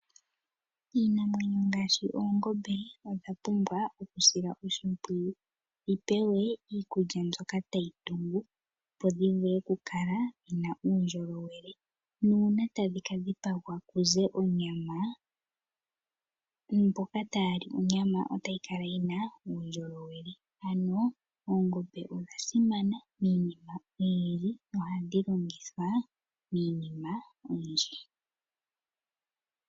Iinamwenyo ngaashi oongombe odha pumbwa okusilwa oshimpwiyu. Dhi pewe iikulya mbyoka tayi tungu opo dhi vule okukala dhina uundjolowele nuuna tadhi ka dhipagwa kuze onyama, mboko taali onyama otayi kala yi na uundjolowele. Ano oongombe odha simana miinima oyindji nohadhi longithwa miinima oyindji.